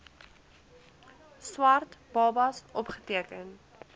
swart babas opgeteken